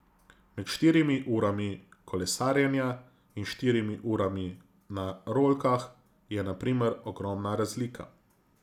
Med štirimi urami kolesarjenja in štirimi urami na rolkah je na primer ogromna razlika.